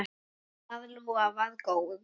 Það lofar góðu.